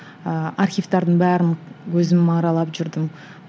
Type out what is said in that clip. ыыы архивтердің бәрін өзім аралап жүрдім